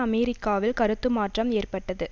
அமெரிக்காவில் கருத்து மாற்றம் ஏற்பட்டது